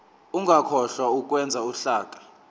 ungakhohlwa ukwenza uhlaka